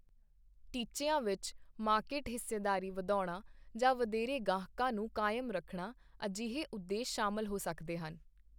ਟੀਚਿਆਂ ਵਿੱਚ, ਮਾਰਕੀਟ ਹਿੱਸੇਦਾਰੀ ਵਧਾਉਣਾ ਜਾਂ ਵਧੇਰੇ ਗਾਹਕਾਂ ਨੂੰ ਕਾਇਮ ਰੱਖਣਾ ਅਹਿਜੇ ਉਦੇਸ਼ ਸ਼ਾਮਲ ਹੋ ਸਕਦੇ ਹਨ।